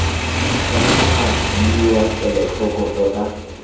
tshwanetse ga nniwa kelotlhoko tota